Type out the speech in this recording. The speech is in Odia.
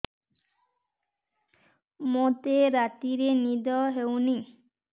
ମୋତେ ରାତିରେ ନିଦ ହେଉନି